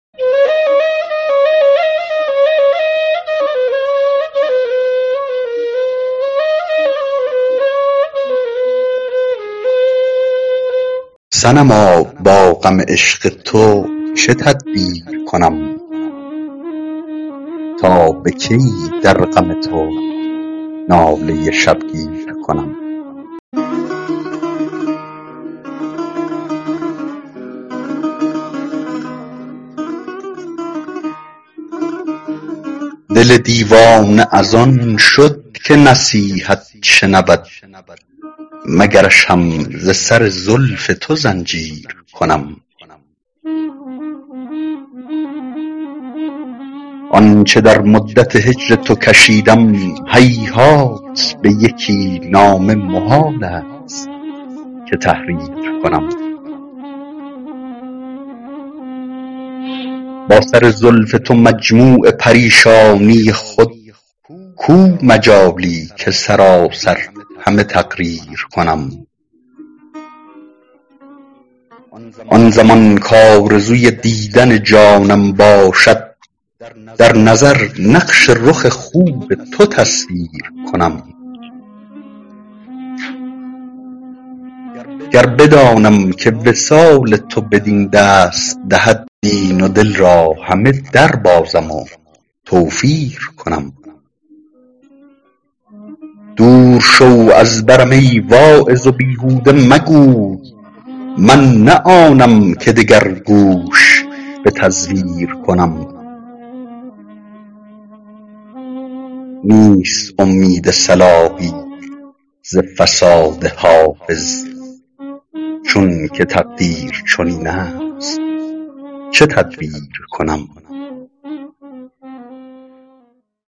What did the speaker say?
صنما با غم عشق تو چه تدبیر کنم تا به کی در غم تو ناله شبگیر کنم دل دیوانه از آن شد که نصیحت شنود مگرش هم ز سر زلف تو زنجیر کنم آن چه در مدت هجر تو کشیدم هیهات در یکی نامه محال است که تحریر کنم با سر زلف تو مجموع پریشانی خود کو مجالی که سراسر همه تقریر کنم آن زمان کآرزوی دیدن جانم باشد در نظر نقش رخ خوب تو تصویر کنم گر بدانم که وصال تو بدین دست دهد دین و دل را همه دربازم و توفیر کنم دور شو از برم ای واعظ و بیهوده مگوی من نه آنم که دگر گوش به تزویر کنم نیست امید صلاحی ز فساد حافظ چون که تقدیر چنین است چه تدبیر کنم